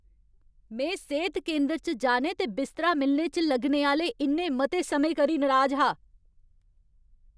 में सेह्त केंदर च जाने ते बिस्तरा मिलने च लग्गने आह्‌ले इन्ने मते समें करी नराज हा।